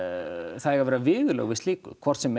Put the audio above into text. það eiga að vera viðurlög við slíku hvort sem